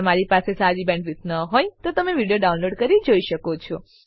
જો તમારી પાસે સારી બેન્ડવિડ્થ ન હોય તો તમે વિડીયો ડાઉનલોડ કરીને જોઈ શકો છો